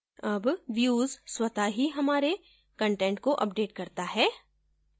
अब views स्वत: ही हमारे कंटेंट को अपडेट करता है